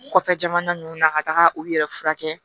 Kɔfɛ jamana ninnu na ka taga u yɛrɛ furakɛ